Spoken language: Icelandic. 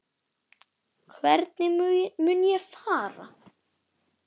Hvernig mun ég fara?